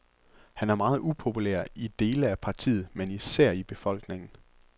Han er meget upopulær i dele af partiet, men især i befolkningen.